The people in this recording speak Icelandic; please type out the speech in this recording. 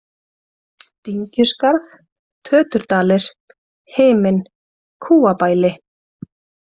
Dyngjuskarð, Töturdalir, Himinn, Kúabæli